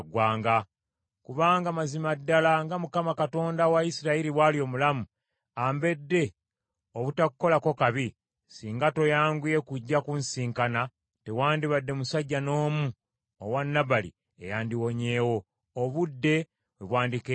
Kubanga mazima ddala nga Mukama Katonda wa Isirayiri bw’ali omulamu, ambedde obutakukolako kabi, singa toyanguye kujja kunsisinkana, tewandibadde musajja n’omu owa Nabali eyandiwonyeewo, obudde we bwandikeeredde enkya.”